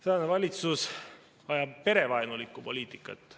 Tänane valitsus ajab perevaenulikku poliitikat.